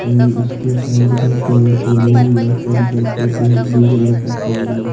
और ये इसके साइड में पेड़ पौधे भी है और इधर पे एक ब्लू कलर का पेड़ है।